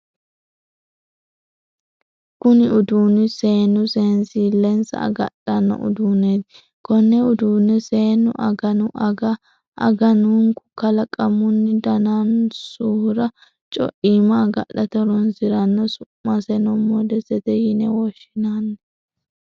Kunni uduunni seenu seensilensa agadhano uduuneeti. Konne uduune seenu aganu aga aganunku kalaqamunni daanonsahura coichima agadhate horoonsirano. Su'maseno modesete yine woshinnanni.